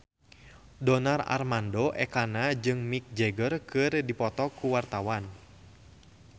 Donar Armando Ekana jeung Mick Jagger keur dipoto ku wartawan